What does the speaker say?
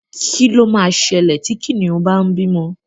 Kí ló ma ṣẹlẹ̀ tí Kìnìún bá ń bímọ?